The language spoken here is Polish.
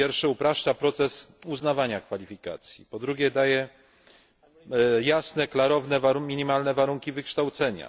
Po pierwsze, upraszcza proces uznawania kwalifikacji, po drugie, daje jasne, klarowne minimalne warunki wykształcenia.